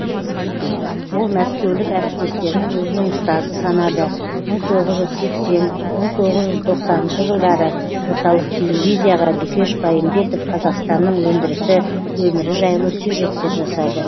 ол мәскеулік әріптестерін өзінің ұстазы санады мың тоғыз жүз сексен мың тоғыз жүз тоқсаныншы жылдары орталық телевизияға дүкеш байымбетов қазақстанның өндірісі өмірі жайлы сюжеттер жасады